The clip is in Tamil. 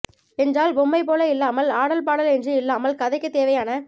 என்றால் பொம்மை போல இல்லாமல் ஆடல் பாடல் என்று இல்லாமல் கதைக்கு தேவையான